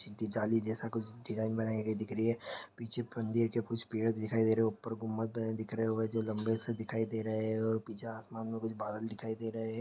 दीजाली जैसा कुछ डिज़ाइन बनाई गई दिख रही है पीछे मंदिर के कुछ पेड़ दिखाई दे रहे है ऊपर गुम्मद है दिख रहे वैसे लम्बे से दिखाई दे रहे है और पीछे आसमान में कुछ बादल दिखाई दे रहे है।